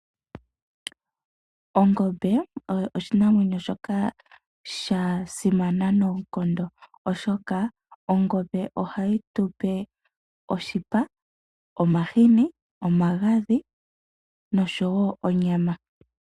Ongombe oyo oshinamwenyo shoka shasimana noonkondo, oshoka ongombe ohayi tupe oshipa, omahini, omagadhi noshowo onyama.